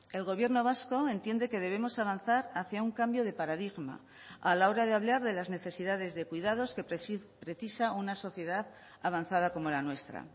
el gobierno vasco entiende que debemos avanzar hacia un cambio de paradigma a la hora de hablar de las necesidades de cuidados que precisa una sociedad avanzada como la nuestra